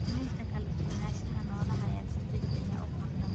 Luminta kala duwanaanshaha noolaha ayaa si degdeg ah u kordha.